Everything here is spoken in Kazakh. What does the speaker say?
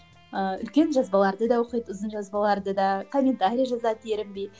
ыыы үлкен жазбаларды да оқиды ұзын жазбалаларды да комментарий жазады ерінбей